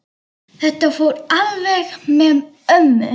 Þetta fór alveg með ömmu.